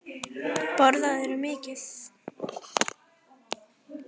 Jón Júlíus: Borðarðu mikið?